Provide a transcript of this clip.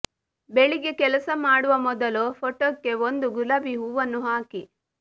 ಬೆಳಿಗ್ಗೆ ಕೆಲಸ ಮಾಡುವ ಮೊದಲು ಫೋಟೋಕ್ಕೆ ಒಂದು ಗುಲಾಬಿ ಹೂವನ್ನು ಹಾಕಿ